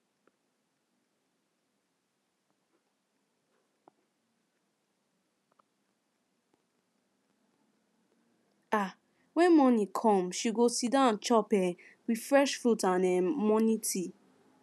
um when morning calm she go siddon chop um with fresh fruit and um morning tea